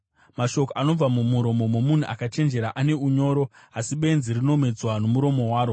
Mashoko anobva mumuromo momunhu akachenjera ane unyoro, asi benzi rinomedzwa nomuromo waro.